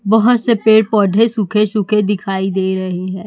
बहोत से पेड़ पौधे सूखे सूखे दिखाई दे रहे हैं।